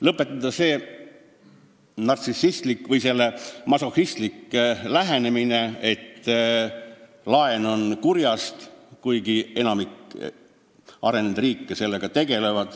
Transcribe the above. Lõpetada see masohhistlik lähenemine, et laen on kurjast, kuigi enamik arenenud riike laenuvõtmisega tegeleb.